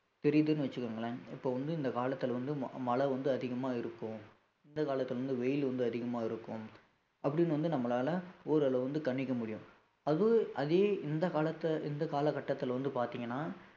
தெரியுதுன்னு வச்சுக்கோங்களேன் இப்ப வந்து இந்த காலத்துல வந்து ம~ மழை வந்து அதிகமா இருக்கும் இந்த காலத்துல வந்து வெயில் வந்து அதிகமா இருக்கும் அப்படின்னு வந்து நம்மளால ஓரளவு வந்து கணிக்க முடியும் அது அதே இந்த காலத்து இந்த கால கட்டத்துல வந்து பாத்தீங்கன்னா